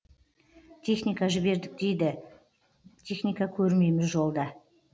техника жібердік дейді техника көрмейміз жолда